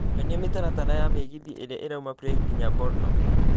nyonia mĩtaratara ya mĩgithi ĩria ĩrauma Prague nginya brno